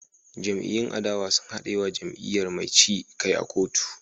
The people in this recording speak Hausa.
Jam'iyyun adawa sun haɗe wa jam'iyyar mai ci kai a kotu